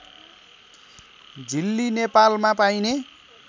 झिली नेपालमा पाइने